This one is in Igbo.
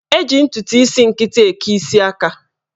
Eji ntụtụ isi nkịtị eke isi aka.